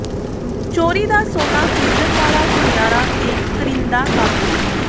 ਚੋਰੀ ਦਾ ਸੋਨਾ ਖ਼ਰੀਦਣ ਵਾਲਾ ਸੁਨਿਆਰਾ ਤੇ ਕਰਿੰਦਾ ਕਾਬੂ